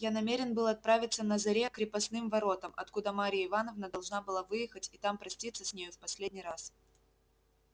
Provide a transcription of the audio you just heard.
я намерен был отправиться на заре к крепостным воротам откуда марья ивановна должна была выехать и там проститься с нею в последний раз